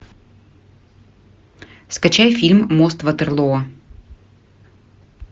скачай фильм мост ватерлоо